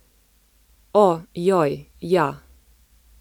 O, joj, ja.